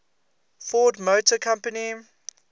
ford motor company